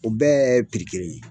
O bɛɛ kelen ye.